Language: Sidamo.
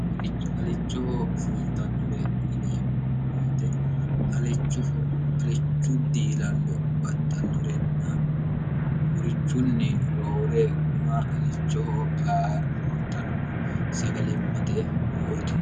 woralichoho fultannore yineemmo woyite alichu diilallo baxxannorenna wurichunni roore guma alichoho aa roortanno sagalimmate murooti